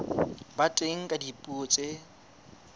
ba teng ka dipuo tse